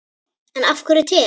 En af hverju te?